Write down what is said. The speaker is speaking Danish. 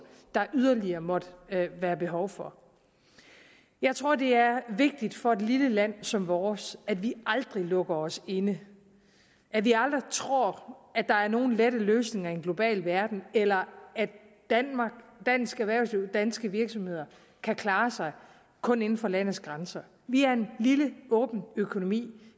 der yderligere måtte være behov for jeg tror det er vigtigt for et lille land som vores at vi aldrig lukker os inde at vi aldrig tror at der er nogen lette løsninger i en global verden eller at dansk erhvervsliv danske virksomheder kan klare sig kun inden for landets grænser vi er en lille åben økonomi